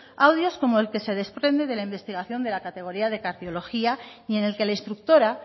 audios como el que se desprende de la investigación de la categoría de cardiología y en el que la instructora